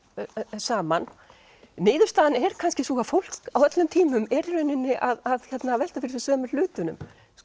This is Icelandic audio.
saman niðurstaðan er kannski sú að fólk á öllum tímum er í rauninni að velta fyrir sér sömu hlutunum